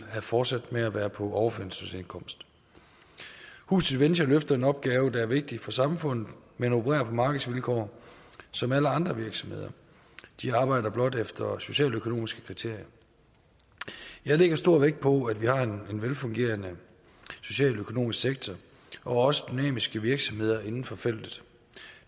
fortsat med at være på overførselsindkomst huset venture løfter en opgave der er vigtig for samfundet men opererer på markedsvilkår som alle andre virksomheder de arbejder blot efter socialøkonomiske kriterier jeg lægger stor vægt på at vi har en velfungerende socialøkonomisk sektor og også dynamiske virksomheder inden for feltet